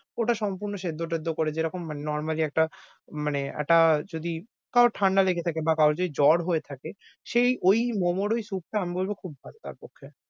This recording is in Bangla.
ওটা সম্পূর্ণ সেদ্ধ টেদ্দ করে যে রকম মানে normally একটা মানে একটা, যদি কারোর ঠাণ্ডা লেগে থাকে বা কারোর যদি জ্বর হয়ে থাকে সেই ঐ momo ঐ soup টা আমি বলবো খুব ভালো তার পক্ষে।